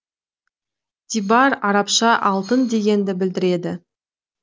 тибар арабша алтын дегенді білдіреді